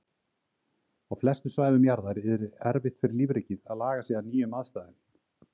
Á flestum svæðum jarðar yrði erfitt fyrir lífríkið að laga sig að nýjum aðstæðum.